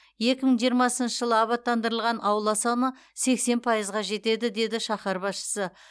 екі мың жиырмасыншы жылы абаттандырылған аула саны сексен пайызға жетеді деді шаһар басшысы